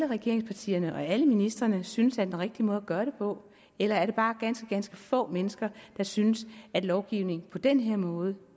regeringspartierne og alle ministrene synes er den rigtige måde at gøre det på eller er det bare ganske ganske få mennesker der synes at en lovgivning på den her måde